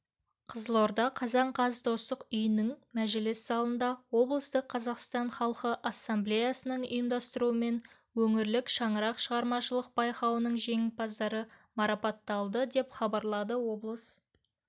қызылорда қазан қаз достық үйінің мәжіліс залында облыстық қазақстан халқы ассамблеясының ұйымдастыруымен өңірлік шаңырақ шығармашылық байқауының жеңімпаздары марапатталды деп хабарлады облыс